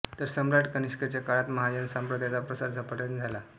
तर सम्राट कनिष्कांच्या काळात महायान संप्रदायाचा प्रसार झपाट्याने झाला